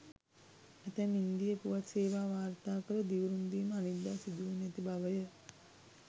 ඇතැම් ඉන්දීය පුවත් සේවා වාර්තා කළේ දිවුරුම් දීම අනිද්දා සිදුවනු ඇති බවය.